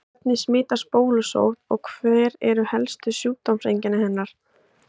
Hvernig smitast bólusótt og hver eru helstu sjúkdómseinkenni hennar?